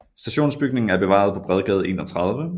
Stationsbygningen er bevaret på Bredgade 31